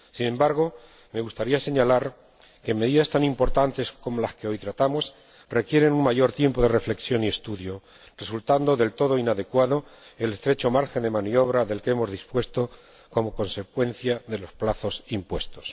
Sin embargo, me gustaría señalar que medidas tan importantes como las que hoy tratamos requieren un mayor tiempo de reflexión y estudio, resultando del todo inadecuado el estrecho margen de maniobra del que hemos dispuesto como consecuencia de los plazos impuestos.